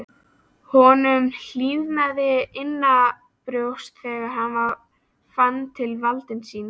Honum hlýnaði innanbrjósts þegar hann fann til valds síns.